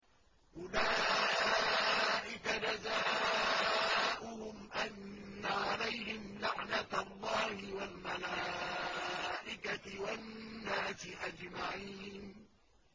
أُولَٰئِكَ جَزَاؤُهُمْ أَنَّ عَلَيْهِمْ لَعْنَةَ اللَّهِ وَالْمَلَائِكَةِ وَالنَّاسِ أَجْمَعِينَ